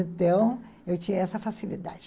Então, eu tinha essa facilidade.